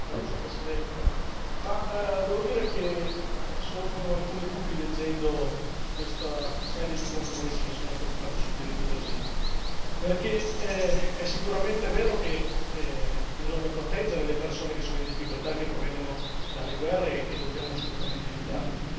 Signor Presidente, onorevoli colleghi, devo dire che sorgono alcuni dubbi leggendo questa serie di compromessi che sono stati fatti sul diritto d'asilo, perché è sicuramente vero che bisogna proteggere le persone che sono in difficoltà e che provengono dalle guerre e dobbiamo assolutamente aiutarle.